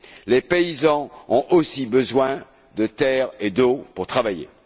Les paysans ont aussi besoin de terres et d'eau pour travailler.